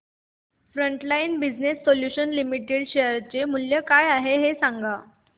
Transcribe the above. frontline business solutions limited share चे मूल्य काय आहे हे सांगा